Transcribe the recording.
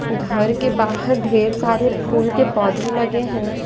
घर के बाहर ढेर सारे फूल के पौधे लगे हैं।